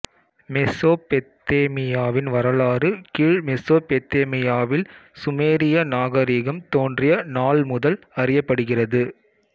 மெசொப்பொத்தேமியாவின் வரலாறு கீழ் மெசொப்பொத்தேமியாவில் சுமேரிய நாகரிகம் தோன்றிய நாள் முதல் அறியப்படுகிறது